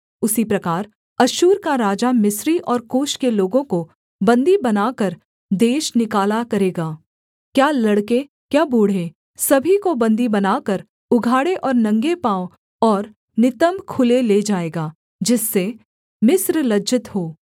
उसी प्रकार अश्शूर का राजा मिस्री और कूश के लोगों को बन्दी बनाकर देश निकाला करेगा क्या लड़के क्या बूढे़ सभी को बन्दी बनाकर उघाड़े और नंगे पाँव और नितम्ब खुले ले जाएगा जिससे मिस्र लज्जित हो